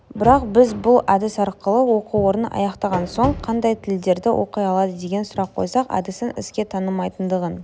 бірақ біз бұл әдіс арқылы оқу орнын аяқтаған соң қандай тілдерде оқи алады деген сұрақ қойсақ әдістің іске татымайтындығын